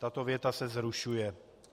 tato věta se zrušuje.